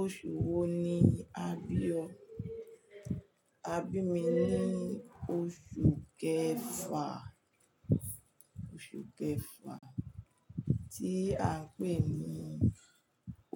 Oṣù wo ni a bí ọ? A bí mi ní oṣù kẹfà, oṣù kẹfà tí a ń pè ní